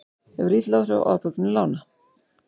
Hefur lítil áhrif á afborganir lána